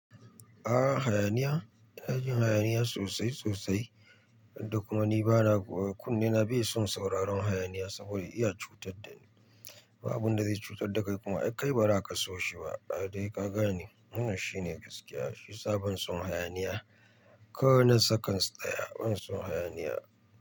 A'a hayaniya? iNa jin hayaniya sosai sosai, da kuma ni bana kunnena bai son sauraron hayaniya saboda iya cutar da ni. Ba abin da zai cutar da kai kuma ai kai ba za ka so shi ba. Da dai ka gane wannan shine gaskiya, shi sa ban son hayaniya. Ko na sakans daya, ban son hayaniya.